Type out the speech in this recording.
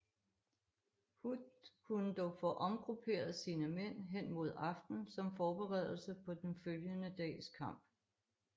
Hood kunne dog få omgrupperet sine mænd hen mod aften som forberedelse på den følgende dags kamp